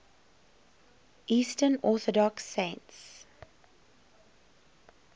eastern orthodox saints